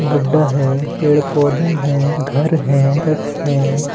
गड्डा है पेड़ पौधे है घर है तट है।